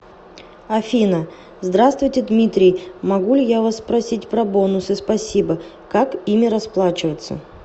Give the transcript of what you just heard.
афина здравствуйте дмитрий могу ли я у вас спросить про бонусы спасибо как ими расплачиваться